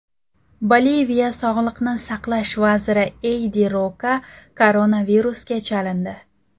Boliviya sog‘liqni saqlash vaziri Eydi Roka koronavirusga chalindi.